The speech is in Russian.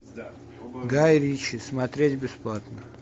гай ричи смотреть бесплатно